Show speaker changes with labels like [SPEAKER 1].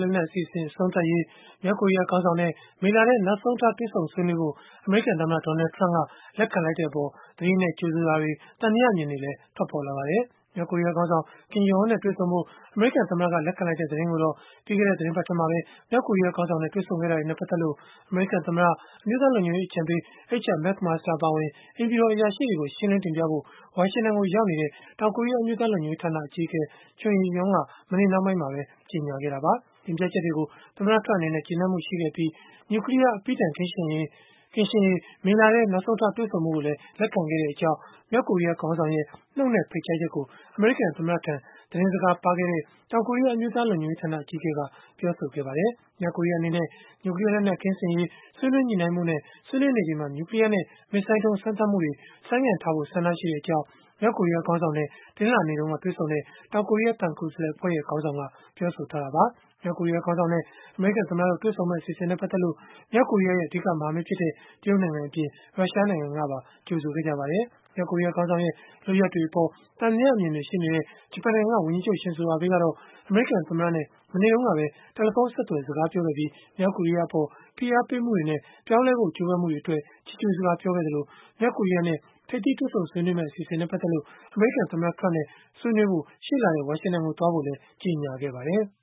[SPEAKER 1] လက်နက် အစီအစဉ် အဆုံးသတ်ရေး မြောက်ကိုရီးယား ခေါင်းဆောင်နဲ့ မေလထဲ နောက်ဆုံးထား တွေ့ဆုံဆွေးနွေးဖို့ အမေရိကန်သမ္မတ Donald Trump လက်ခံလိုက်တဲ့အပေါ် သတိနဲ့ ကြိုဆိုတာတွေ၊ သံသယအမြင်တွေလည်း ထွက်ပေါ်လာပါတယ်။ မြောက်ကိုရီးယားခေါင်းဆောင် Kim Jong Un နဲ့ တွေ့ဆုံဖို့ အမေရိကန်သမ္မတက လက်ခံလိုက်တဲ့ သတင်းကိုတော့ ပြီးခဲ့တဲ့ သီတင်းပတ်ထဲ မြောက်ကိုရီးယားခေါင်းဆောင်နဲ့ တွေ့ဆုံခဲ့တာတွေနဲ့ ပတ်သက်လို့ အမေရိကန်သမ္မတ၊ အမျိုးသားလုံခြုံရေးအကြံပေး H.R. McMaster အပါအဝင် အိမ်ဖြူတော် အရာရှိတွေကို ရှင်းလင်းတင်ပြဖို့ ဝါရှင်တန်ကို ရောက်နေတဲ့ တောင်ကိုရီးယား အမျိုးသားလုံခြုံရေး ဌာန အကြီးအကဲ Chung Eui-yong က မနေ့နှောင်းပိုင်းမှာပဲ ကြေညာခဲ့တာပါ။ တင်ပြချက်တွေကို သမ္မတ Trump အနေနဲ့ ကျေနပ်မှုရှိခဲ့ပြီး၊ နျူကလီးယား အပြီးတိုင် ကင်းရှင်းရေး မေလထဲ နောက်ဆုံးထား တွေ့ဆုံဖို့ကိုလည်း လက်ခံခဲ့ကြောင်း မြောက်ကိုရီးယားခေါင်းဆောင်ရဲ့ နှုတ်နဲ့ဖိတ်ကြားချက်ကို အမေရိကန်သမ္မတထံ သတင်းစကားပါးခဲ့တဲ့ တောင်ကိုရီးယား အမျိုးသားလုံခြုံရေးဌာန အကြီးအကဲက ပြောဆိုခဲ့ပါတယ်။ မြောက်ကိုရီးယား အနေနဲ့ နျူကလီးယားလက်နက် ကင်းစင်ရေး ဆွေးနွေးညှိနှိုင်းဖို့နဲ့ ဆွေးနွေးနေချိန်မှာ နျူကလီးယားနဲ့ မစ်ဇိုင်းဒုံး စမ်းသပ်မှုတွေ ဆိုင်းငံ့ထားဖို့ ဆန္ဒရှိတဲ့အကြောင်း မြောက်ကိုရီးယား ခေါင်းဆောင်နဲ့ တနင်္လာနေ့တုန်းက တွေ့ဆုံခဲ့တဲ့ တောင်ကိုရီးယား သံကိုယ်စားလှယ်အဖွဲ့ခေါင်းဆောင် Chung Eui-yong က ပြောဆိုထားတာပါ။ မြောက်ကိုရီးယားခေါင်းဆောင်နဲ့ အမေရိကန် သမ္မတတို့ တွေ့ဆုံမယ့် အစီအစဉ်နဲ့ ပတ်သက်လို့ မြောက်ကိုရီးယားရဲ့ အဓိက မဟာမိတ်ဖြစ်တဲ့ တရုတ်နိုင်ငံအပြင်၊ ရုရှားနိုင်ငံကပါ ကြိုဆိုခဲ့ကြပါတယ်။ မြောက်ကိုရီးယား ခေါင်းဆောင်ရဲ့ လုပ်ရပ်တွေအပေါ် သံသယအမြင်တွေ ရှိနေတဲ့ ဂျပန်နိုင်ငံက ဝန်ကြီးချုပ် Shinzo Abe ကတော့ အမေရိကန်သမ္မတနဲ့ မနေ့တုန်းကပဲ တယ်လီဖုန်းဆက်သွယ် စကားပြောခဲ့ပြီး မြောက်ကိုရီးယားအပေါ် ဖိအားပေးမှုတွေနဲ့ ပြောင်းလဲဖို့ ကြိုးပမ်းမှုတွေကို ချီးကျုးစကား ပြောဆိုခဲ့သလို၊ မြောက်ကိုရီးယားနဲ့ ထိပ်သီးတွေ့ဆုံဆွေးနွေးမယ့် အစီအစဉ်နဲ့ ပတ်သက်လို့ အမေရိကန် သမ္မတ Trump နဲ့ ဆွေးနွေးဖို့ ရှေ့လထဲ ဝါရှင်တန်ကို သွားဖို့လည်း ကြေညာခဲ့ပါတယ်။